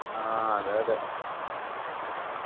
ആഹ് അതെയതെ